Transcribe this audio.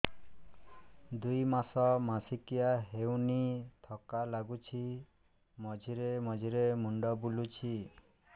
ଦୁଇ ମାସ ମାସିକିଆ ହେଇନି ଥକା ଲାଗୁଚି ମଝିରେ ମଝିରେ ମୁଣ୍ଡ ବୁଲୁଛି